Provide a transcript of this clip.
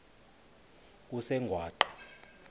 kusengwaqa